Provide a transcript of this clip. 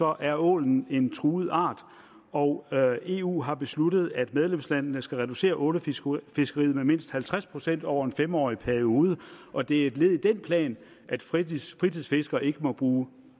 er ålen en truet art og eu har besluttet at medlemslandene skal reducere ålefiskeriet med mindst halvtreds procent over en fem årig periode og det er et led i den plan at fritidsfiskere ikke må bruge